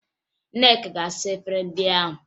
Nneka ga-asa efere ndị ahụ